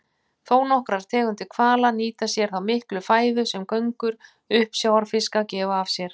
Þónokkrar tegundir hvala nýta sér þá miklu fæðu sem göngur uppsjávarfiska gefa af sér.